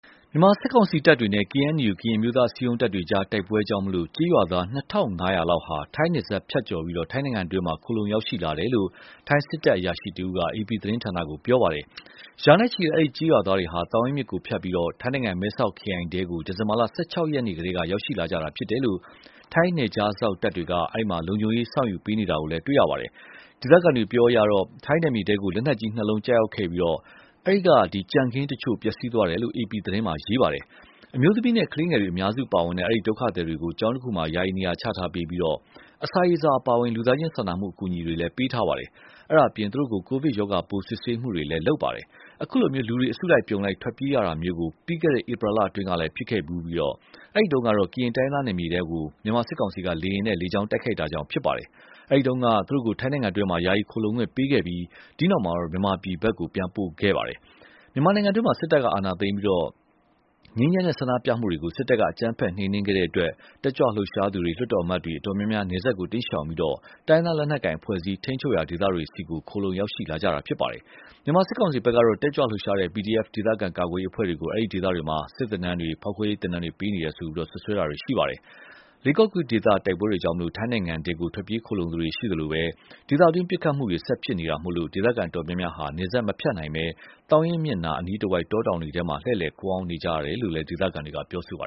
မြန်မာစစ်ကောင်စီတပ်တွေနဲ့ KNU ကရင်အမျိုးသားအစည်းအရုံး တပ်တွေအကြား တိုက်ပွဲကြောင့် ကျေးရွာသား ၂,၅၀၀ လောက်ဟာ ထိုင်းနယ်စပ်ဖြတ်ပြီး ထိုင်းနိုင်ငံတွင်း ခိုလှုံရောက်ရှိလာတယ်လို့ ထိုင်းစစ်တပ် အရာရှိတဦးက အေပီသတင်းဌာနကို ပြောပါတယ်။ ရာနဲ့ချီတဲ့ အဲဒီ ကျေးရွာသားတွေဟာ သောင်ရင်းမြစ်ကိုဖြတ်ပြီး ထိုင်းနိုင်ငံ မဲဆောက်ခရိုင်ထဲ ဒီဇင်ဘာလ ၁၆ ရက်နေ့ကတည်းက ရောက်ရှိလာကြတာကို ထိုင်းနယ်ခြားစောင့်တပ်တွေက လုံခြုံရေးယူ စောင့်ရှောက်ပေးနေတာတွေကို တွေ့ရပါတယ်။ ဒေသခံတွေ အပြောအရတော့ ထိုင်းနယ်မြေထဲကို လက်နက်ကြီးနှစ်လုံး ကျရောက်ပြီး အဲဒီက ကြံခင်းတချို့ ပျက်စီးသွားတယ်လို့ အေပီမှာ ရေးသားပါတယ်။ အမျိုးသမီးနဲ့ ကလေးငယ်တွေ အများစုပါတဲ့ အဲဒီဒုက္ခသည်တွေကို ကျောင်းတခုမှာ ယာယီနေရာချထားပေးပြီး အစာရေစာ အပါအဝင် လူသားချင်းစာနာမှု အကူအညီတွေ ပေးထားပါတယ်။ အဲဒါအပြင် သူတို့ကို ကိုဗစ်ရောဂါပိုး စစ်ဆေးမှုတွေလည်း လုပ်ပါတယ်။ အခုလို လူတွေ အစုလိုက်အပြုံလိုက် ထွက်ပြေးရတာမျိုးကို ပြီးခဲ့တဲ့ ဧပြီလအတွင်းကလည်း ဖြစ်ခဲ့ဖူးပြီး အဲဒီတုန်းကတော့ ကရင်တိုင်းရင်းသားနယ်မြေထဲ မြန်မာစစ်ကောင်စီက လေယာဉ်နဲ့ လေကြောင်းတိုက်ခိုက်တာကြောင့် ဖြစ်ပါတယ်။ အဲဒီတုန်းကတော့ သူတို့ကို ထိုင်းနိုင်ငံတွင်း ယာယီခိုလှုံခွင့်ပေးခဲ့ပြီး အဲဒီနောက် မြန်မာပြည်ဘက် ပြန်ပို့ခဲ့ပါတယ်။ မြန်မာနိုင်ငံတွင်း စစ်တပ်က အာဏာသိမ်းပြီး ငြိမ်းချမ်းတဲ့ ဆန္ဒပြမှုတွေကို စစ်တပ်က အကြမ်းဖက် နှိမ်နင်းခဲ့တဲ့အတွက် တက်ကြွလှုပ်ရှားသူတွေ၊ လွှတ်တော်အမတ်တွေ အတော်များများ နယ်စပ်ကို တိမ်းရှောင်ပြီး တိုင်းရင်းသား လက်နက်ကိုင် အဖွဲ့အစည်း ထိန်းချုပ်ရာ ဒေသတွေဆီ ခိုလှုံ ရောက်ရှိလာကြတာပါ။ မြန်မာစစ်ကောင်စီဘက်ကတော့ တက်ကြွလှုပ်ရှားတဲ့ PDF ဒေသခံ ကာကွယ်ရေးအဖွဲ့တွေကို အဲဒီဒေသတွေမှာ စစ်သင်တန်းတွေ၊ ဖောက်ခွဲရေးသင်တန်းတွေ ပေးနေတယ်လို့ စွပ်စွဲတာတွေ ရှိပါတယ်။ လေးကေ့ကော်ဒေသ တိုက်ပွဲတွေကြောင့် ထိုင်းနိုင်ငံထဲ ထွက်ပြေးခိုလှုံသူတွေ ရှိသလို ဒေသတွင်း ပစ်ခတ်မှုတွေ ဆက်ဖြစ်နေတာမို့ ဒေသခံ အတော်များများဟာ နယ်စပ်မဖြတ်နိုင်ဘဲ သောင်ရင်းမြစ်နား အနီးတဝိုက် တောတောင်တွေထဲ လှည့်လည်ခိုအောင်း နေကြရတယ်လို့လည်း ဒေသခံတွေက ပြောပါ